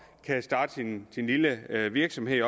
kan starte sin lille virksomhed